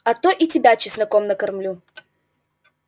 а то и тебя чесноком накормлю